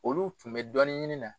Olu tun bɛ dɔni ɲini na